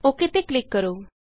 okay ਤੇ click ਕਰੋ